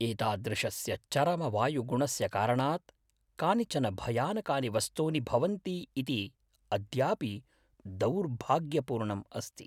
एतादृशस्य चरमवायुगुणस्य कारणात् कानिचन भयानकानि वस्तूनि भवन्ति इति अद्यापि दौर्भाग्यपूर्णम् अस्ति।